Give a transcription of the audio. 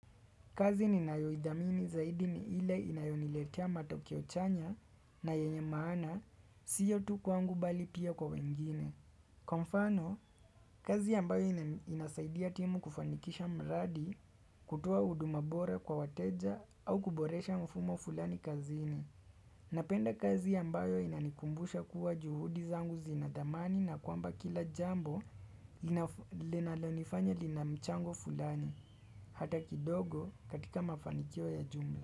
Kazi ninayoidhamini zaidi ni ile inayoniletia matokeo chanya na yenye maana, sio tukwangu bali pia kwa wengine. Kwa mfano, kazi ambayo inasaidia timu kufanikisha mradi, kutoa huduma bora kwa wateja au kuboresha mfumo fulani kazini. Napenda kazi ambayo inanikumbusha kuwa juhudi zangu zinadhamani na kwamba kila jambo linalonifanya linamchango fulani, hata kidogo katika mafanikio ya jumbii.